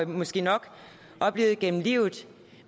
måske nok oplevet gennem livet